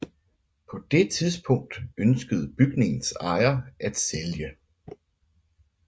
På det tidspunkt ønskede bygningens ejer at sælge